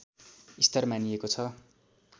स्तर मानिएको छ